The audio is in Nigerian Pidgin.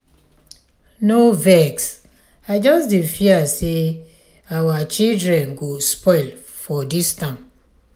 no vex i just dey fear say our children go spoil for dis town.